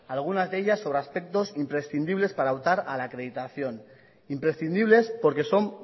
algunas de ellas sobre aspectos imprescindibles para optar a la acreditación imprescindibles porque son